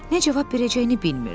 Nə cavab verəcəyini bilmirdi.